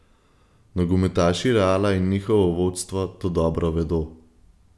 Nogometaši Reala in njihovo vodstvo to dobro vedo.